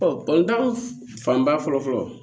fanba fɔlɔ fɔlɔ